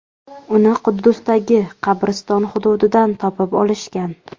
Uni Quddusdagi qabriston hududidan topib olishgan.